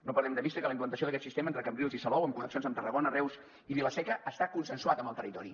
no perdem de vista que la implantació d’aquest sistema entre cambrils i salou amb connexions amb tarragona reus i vila seca està consensuat amb el territori